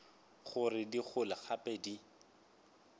gore di gole gape di